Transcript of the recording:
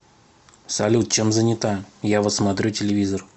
салют чем занята я вот смотрю телевизор